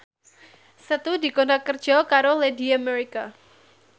Setu dikontrak kerja karo Lady America